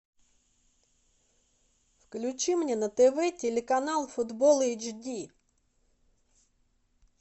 включи мне на тв телеканал футбол эйч ди